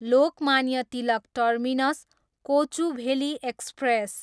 Lokmanya Tilak terminus, Kochuveli express